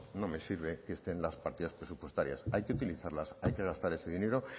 no me sirve que estén las partidas presupuestarias hay que utilizarlas hay que gastar ese dinero